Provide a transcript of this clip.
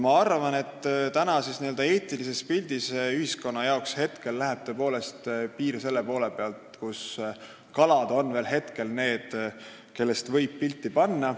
Ma arvan, et praegu läheb n-ö eetilises pildis ühiskonna jaoks tõepoolest piir selle koha pealt, kus kalad on veel need, kellest võib pilti üles panna.